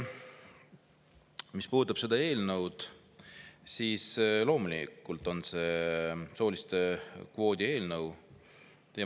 Mis puudutab seda eelnõu, siis see loomulikult on soolise kvoodi eelnõu.